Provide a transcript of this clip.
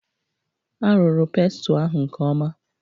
A rụrụ pestle ahụ nke ọma.